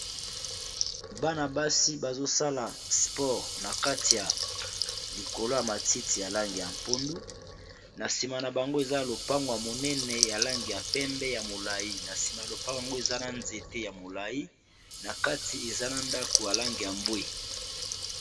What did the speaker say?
bana basi bazosala spore na kati ya likolo ya matiti ya lange ya mpondu na nsima na bango eza lopangw ya monene ya lange ya pembe ya molai na nsima ya lopangw yango eza na nzete ya molai na kati eza na ndako ya lange ya mbwe